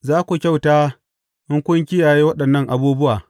Za ku kyauta in kun kiyaye waɗannan abubuwa.